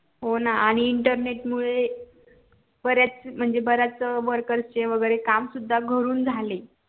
हो ना internet मुळे बऱ्याच म्हणजे worker चे काम वैगेरे काम सुद्धा घरून झाले